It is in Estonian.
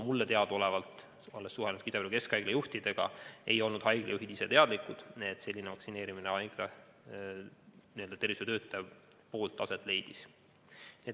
Mulle teadaolevalt, olles suhelnud Ida-Viru Keskhaigla juhtidega, ei olnud haigla juhid ise teadlikud, et sellise vaktsineerimise nende tervishoiutöötaja läbi viis.